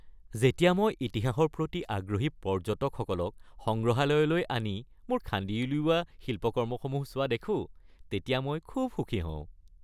যেতিয়া মই ইতিহাসৰ প্ৰতি আগ্ৰহী পৰ্য্যটকসকলক সংগ্ৰহালয়লৈ আহি মোৰ খান্দি উলিওৱা শিল্পকৰ্মসমূহ চোৱা দেখোঁ তেতিয়া মই খুব সুখী হওঁ।